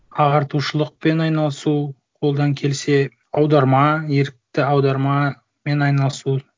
ағартушылықпен айналысу қолдан келсе аударма ерікті аудармамен айналысу